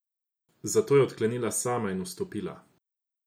Zato je odklenila sama in vstopila.